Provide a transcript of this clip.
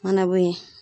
Mana bɔ yen